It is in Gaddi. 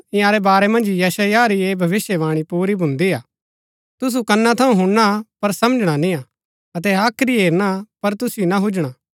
इन्यारै वारै मन्ज यशायाह री ऐह भविष्‍यवाणी पुरी भुन्दी हा तुसु कना थऊँ हुणना पर समझणा निय्आ अतै हाख्री हेरना पर तुसिओ ना हुजणा